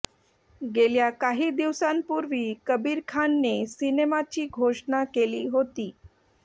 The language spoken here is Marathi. गेल्या काही दिवसांपूर्वी कबीर खानने सिनेमाची घोषणा केली होती